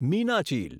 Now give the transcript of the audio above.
Meenachil